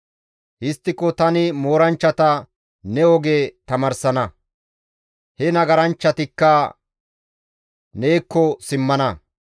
Histtiko tani mooranchchata ne oge tamaarsana; he nagaranchchatikka neekko simmana.